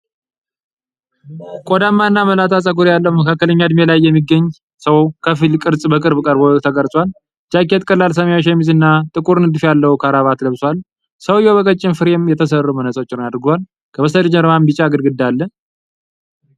ቆዳማ እና መላጣ ፀጉር ያለው መካከለኛ እድሜ ላይ የሚገኝ ሰው ከፊል ቅርጹ በቅርብ ቀርቦ ተቀርጿል። ጃኬት፣ ቀላል ሰማያዊ ሸሚዝ እና ጥቁር ንድፍ ያለው ክራባት ለብሷል። ሰውዬው በቀጭን ፍሬም የተሰሩ መነፅሮችን አድርጓል፤ ከበስተጀርባም ቢጫ ግድግዳ አለ።